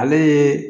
Ale ye